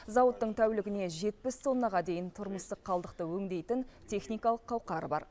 зауыттың тәулігіне жетпіс тоннаға дейін тұрмыстық қалдықты өңдейтін техникалық қауқары бар